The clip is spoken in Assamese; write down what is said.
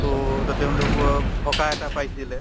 to to তেওঁলোকো সকাহ এটা পাইছিলে